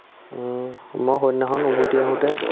উম্, মই সন্ধ্যাখন উভতি আহোতে